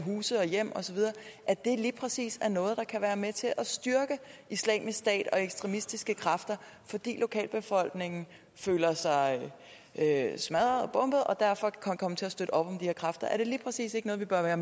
af huse og hjem og så videre lige præcis er noget der kan være med til at styrke islamisk stat og ekstremistiske kræfter fordi lokalbefolkningen føler sig smadret og og derfor kan komme til at støtte op om de her kræfter er det lige præcis ikke noget vi bør være